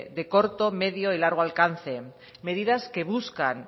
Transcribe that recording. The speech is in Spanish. de corto medio y largo alcance medidas que buscan